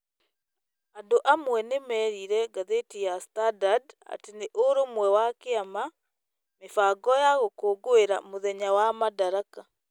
andũ amwe nĩ merire ngathĩti ya Standard atĩ nĩ ũrũmwe wa kĩama, mĩbango ya gũkũngũĩra mũthenya wa Madaraka